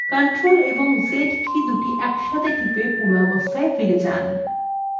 ctrl + z key দুটি একসাথে টিপে পূর্বাবস্থায় ফিরে যান